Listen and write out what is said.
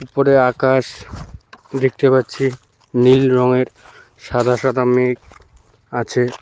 উপরে আকাশ দেখতে পাচ্ছি নীল রঙের সাদা সাদা মেঘ আছে।